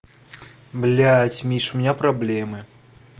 блядь миша у меня проблемы